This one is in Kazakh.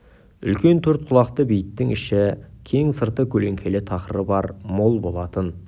үлкен төрт құлақты бейіттің іші кең сырты көлеңкелі тақыры бар мол болатын